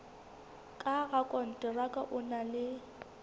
ka rakonteraka o na le